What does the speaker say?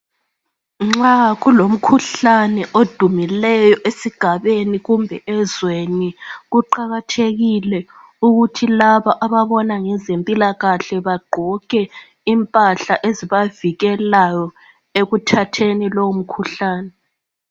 Nxa kulomkhuhlane odumileyo esigabeni kumbe ezweni, kuqakathekile ukuthi laba ababona ngezempilakahle bagqoke impahla ezibavikelayo ekuthatheni lowo mkhuhlane.